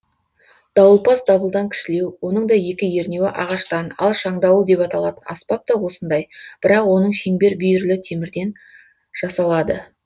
дауылпаз дабылдан кішілеу оның да екі ернеуі ағаштан ал шаңдауыл деп аталатын аспап та осындай бірақ оның шеңбер бүйірлі темірден жасалады